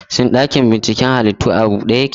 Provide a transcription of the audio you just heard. Shin ɗakin binciken halittu a bude yake?